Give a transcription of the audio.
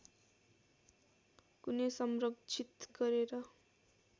कुनै संरक्षित गरेर